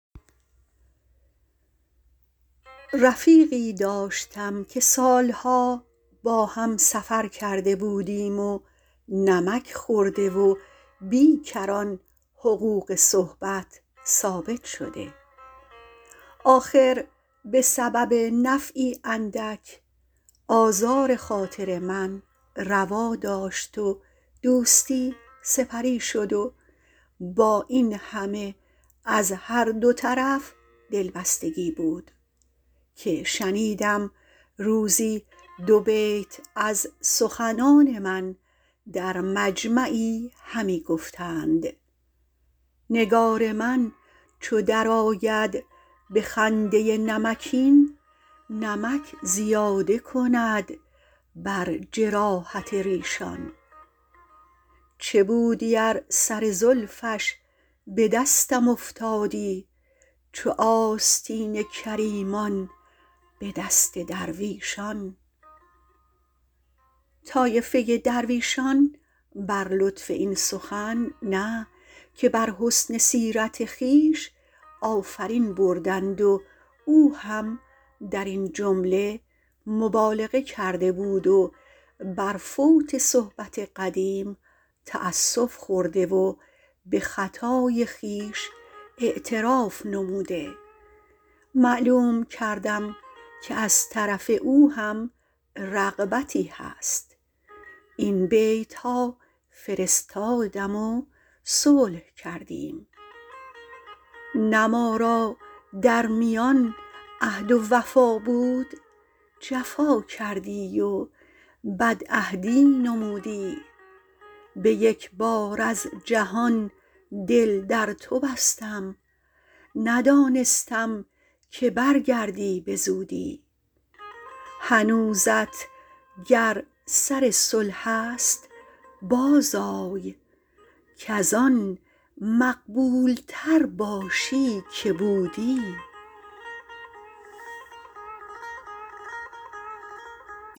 رفیقی داشتم که سالها با هم سفر کرده بودیم و نمک خورده و بی کران حقوق صحبت ثابت شده آخر به سبب نفعی اندک آزار خاطر من روا داشت و دوستی سپری شد و با این همه از هر دو طرف دلبستگی بود که شنیدم روزی دو بیت از سخنان من در مجمعی همی گفتند نگار من چو در آید به خنده نمکین نمک زیاده کند بر جراحت ریشان چه بودی ار سر زلفش به دستم افتادی چو آستین کریمان به دست درویشان طایفه درویشان بر لطف این سخن نه که بر حسن سیرت خویش آفرین بردند و او هم در این جمله مبالغه کرده بود و بر فوت صحبت قدیم تأسف خورده و به خطای خویش اعتراف نموده معلوم کردم که از طرف او هم رغبتی هست این بیتها فرستادم و صلح کردیم نه ما را در میان عهد و وفا بود جفا کردی و بدعهدی نمودی به یک بار از جهان دل در تو بستم ندانستم که برگردی به زودی هنوزت گر سر صلح است باز آی کز آن مقبول تر باشی که بودی